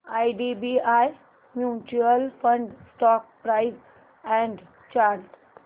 IDBI mutual fund stock price and chart